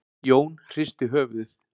Jón hristi höfuðið.